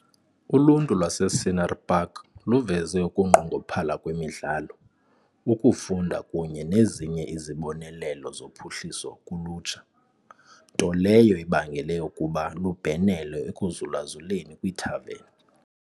Uluntu lwase-Scenery Park luveze ukunqongophala kwemidlalo, ukufunda kunye nezinye izibonelelo zophuhliso kulutsha, nto leyo ebangele ukuba lubhenele ekuzulazuleni kwiithaveni.